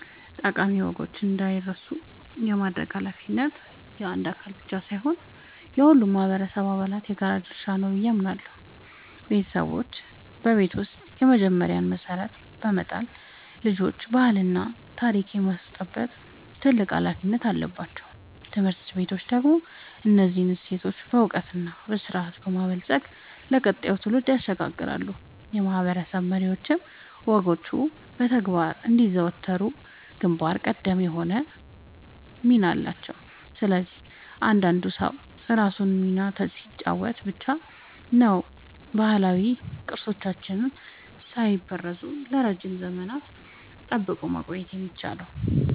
ጠቃሚ ወጎች እንዳይረሱ የማድረግ ኃላፊነት የአንድ አካል ብቻ ሳይሆን የሁሉም ማህበረሰብ አባላት የጋራ ድርሻ ነው ብዬ አምናለሁ። ቤተሰቦች በቤት ውስጥ የመጀመሪያውን መሰረት በመጣል ልጆችን ባህልና ታሪክ የማስጨበጥ ትልቅ ኃላፊነት አለባቸው። ትምህርት ቤቶች ደግሞ እነዚህን እሴቶች በዕውቀትና በስርዓት በማበልጸግ ለቀጣዩ ትውልድ ያሸጋግራሉ፤ የማህበረሰብ መሪዎችም ወጎቹ በተግባር እንዲዘወተሩ ግንባር ቀደም ሆነው ይመራሉ። ስለዚህ እያንዳንዱ ሰው የራሱን ሚና ሲጫወት ብቻ ነው ባህላዊ ቅርሶቻችንን ሳይበረዙ ለረጅም ዘመናት ጠብቆ ማቆየት የሚቻለው።